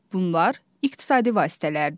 Bunlar iqtisadi vasitələrdir.